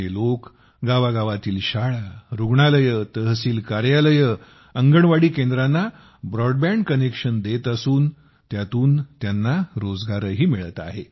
हे लोक गावागावातील शाळा रुग्णालये तहसील कार्यालये अंगणवाडी केंद्रांना ब्रॉडबँड कनेक्शन देत असून त्यातून त्यांना रोजगारही मिळत आहे